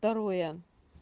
второе